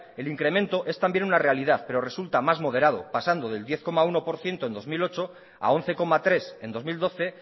el incremento es también una realidad pero resulta más moderado pasando del diez coma uno por ciento en dos mil ocho a once coma tres en dos mil doce